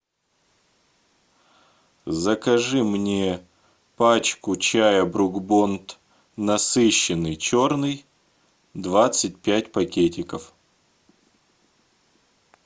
закажи мне пачку чая брук бонд насыщенный черный двадцать пять пакетиков